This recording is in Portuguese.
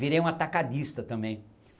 Virei um atacadista também.